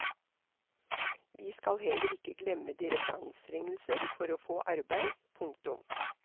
Vi skal heller ikke glemme deres anstrengelser for å få arbeid. punktum